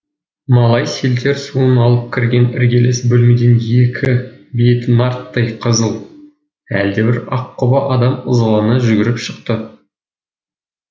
малай селтер суын алып кірген іргелес бөлмеден екі беті нарттай қызыл әлдебір аққұба адам ызалана жүгіріп шықты